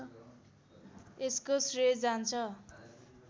यसको श्रेय जान्छ